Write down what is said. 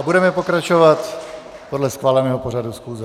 A budeme pokračovat podle schváleného pořadu schůze.